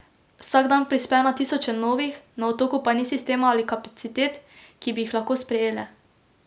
Vsak dan prispe na tisoče novih, na otoku pa ni sistema ali kapacitet, ki bi jih lahko sprejele.